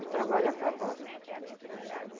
O trabalho acabou.